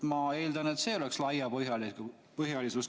Ma eeldan, et see oleks laiapõhjalisus.